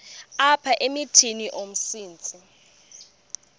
apha emithini umsintsi